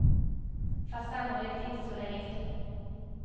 Fast sannolikt inte så länge till.